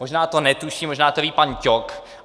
Možná to netuší, možná to ví pan Ťok.